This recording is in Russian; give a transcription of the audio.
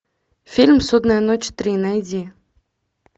фильм судная ночь три найди